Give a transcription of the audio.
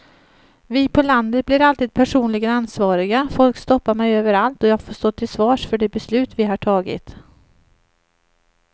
Vi på landet blir alltid personligen ansvariga, folk stoppar mig överallt och jag får stå till svars för de beslut vi har tagit.